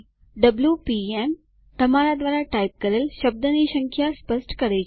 WPM - તમારા દ્વારા type કરેલ શબ્દની સંખ્યા સ્પષ્ટ કરે છે